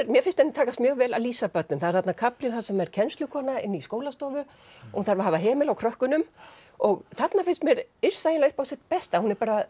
mér finnst henni takast mjög vel að lýsa börnum það er þarna kafli sem er kennslukona inn í skólastofu og hún þarf að hafa hemil á krökkunum og þarna finnst mér Yrsa eiginlega upp á sitt besta